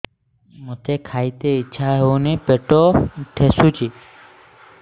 ମୋତେ ଖାଇତେ ଇଚ୍ଛା ହଉନି ପେଟ ଠେସୁଛି